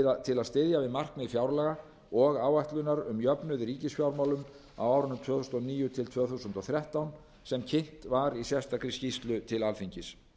til að styðja við markmið fjárlaga og áætlunar um jöfnuð í ríkisfjármálum á árunum tvö þúsund og níu til tvö þúsund og þrettán sem kynnt var í sérstakri skýrslu til alþingis